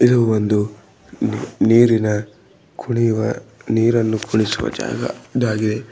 ಇದು ಒಂದು ನೀರಿನ ಕುಣಿಯುವ ನೀರನ್ನು ಕುಡಿಸುವ ಜಾಗ ಇದಾಗಿದೆ.